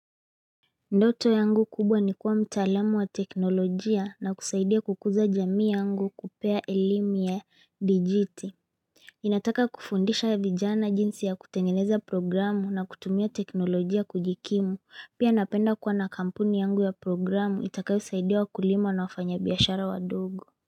Ndoto yangu kubwa ni kuwa mtaalamu wa teknolojia na kusaidia kukuza jamii yangu kupea elimu ya digiti Ninataka kufundisha ya vijana jinsi ya kutengeneza programu na kutumia teknolojia kujikimu pia napenda kuwa na kampuni yangu ya programu itakayosaidia wakulima na wafanya biashara wadogo.